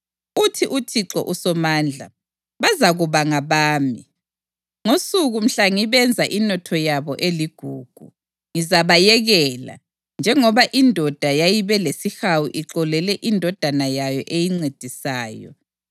Uthi uThixo uSomandla, “Bazakuba ngabami, ngosuku mhla ngibenza inotho yami eligugu. Ngizabayekela, njengoba indoda yayibe lesihawu ixolele indodana yayo eyincedisayo.